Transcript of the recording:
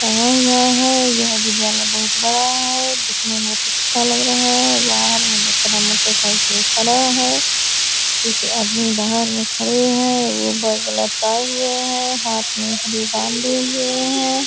है यह विद्यालय बहुत बड़ा है देखने में बहुत अच्छा लग रहा है। बाहर में बहुत सारा मोटरसाइकिल खड़ा है कुछ आदमी बाहर में खड़े हैं। एगो बैग लटकाए हुए हैं हाथ में बांधे हुए हैं।